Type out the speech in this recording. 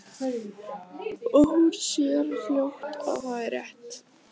Og hún sér fljótt að það er rétt.